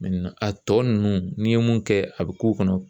a tɔ nunnu n'i ye mun kɛ a bi k'u kɔnɔ